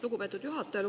Lugupeetud juhataja!